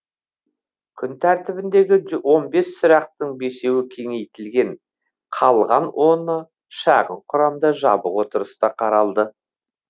күн тәртібіндегі он бес сұрақтың бесеуі кеңейтілген қалған оны шағын құрамда жабық отырыста қаралды